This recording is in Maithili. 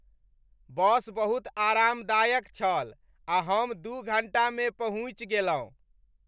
बस बहुत आरामदायक छल आ हम दू घण्टामे पहुँचि गेलहुँ।